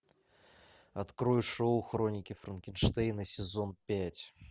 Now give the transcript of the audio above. открой шоу хроники франкенштейна сезон пять